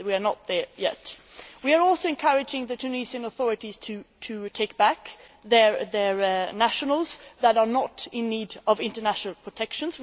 We are not there yet. We are also encouraging the Tunisian authorities to take back their nationals who are not in need of international protection.